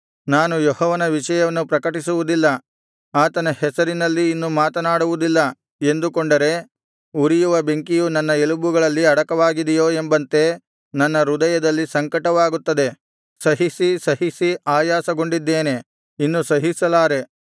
ನಾನು ಯೆಹೋವನ ವಿಷಯವನ್ನು ಪ್ರಕಟಿಸುವುದಿಲ್ಲ ಆತನ ಹೆಸರಿನಲ್ಲಿ ಇನ್ನು ಮಾತನಾಡುವುದಿಲ್ಲ ಎಂದುಕೊಂಡರೆ ಉರಿಯುವ ಬೆಂಕಿಯು ನನ್ನ ಎಲುಬುಗಳಲ್ಲಿ ಅಡಕವಾಗಿದೆಯೋ ಎಂಬಂತೆ ನನ್ನ ಹೃದಯದಲ್ಲಿ ಸಂಕಟವಾಗುತ್ತದೆ ಸಹಿಸಿ ಸಹಿಸಿ ಆಯಾಸಗೊಂಡಿದ್ದೇನೆ ಇನ್ನು ಸಹಿಸಲಾರೆ